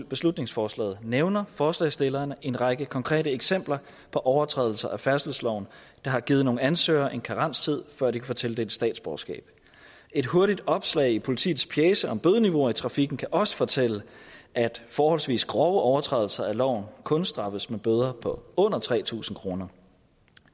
beslutningsforslaget nævner forslagsstillerne en række konkrete eksempler på overtrædelser af færdselsloven der har givet nogle ansøgere en karenstid før de kan få tildelt statsborgerskab et hurtigt opslag i politiets pjece om bødeniveauer i trafikken kan også fortælle at forholdsvis grove overtrædelser af loven kun straffes med bøder på under tre tusind kroner